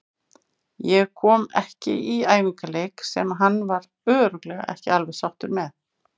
Ég kom ekki í æfingaleiki sem hann var örugglega ekki alveg sáttur með.